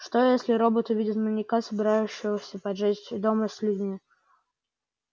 что если робот увидит маньяка собирающегося поджечь дом с людьми